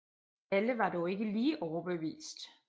Alle var dog ikke lige overbevist